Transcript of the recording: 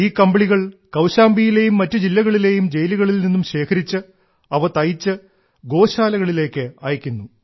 ഈ കമ്പിളികൾ കൌശാംബിയിലേയും മറ്റു ജില്ലകളിലേയും ജയിലുകളിൽ നിന്നും ശേഖരിച്ച് അവ തയ്ച്ച് ഗോശാലകളിലേക്ക് അയക്കുന്നു